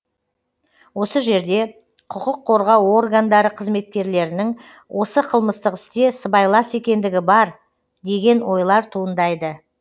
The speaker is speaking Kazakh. осы жерде құқық қорғау органдары қызметкерлерінің осы қылмыстық істе сыбайлас екендігі бар деген ойлар туындайды